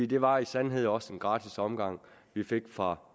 det var i sandhed også en gratis omgang vi fik fra